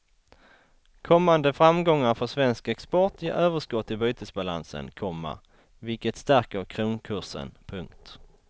Kommande framgångar för svensk export ger överskott i bytesbalansen, komma vilket stärker kronkursen. punkt